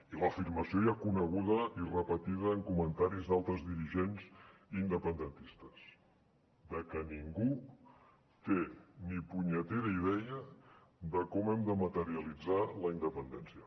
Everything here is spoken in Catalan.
i l’afirmació ja coneguda i repetida en comentaris d’altres dirigents independentistes de que ningú té ni punyetera idea de com hem de materialitzar la independència